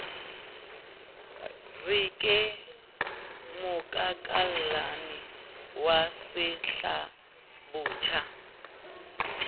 re ke mokakallane wa setlabotjha